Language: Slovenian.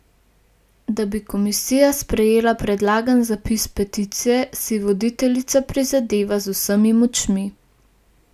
Da bi komisija sprejela predlagan zapis peticije, si voditeljica prizadeva z vsemi močmi.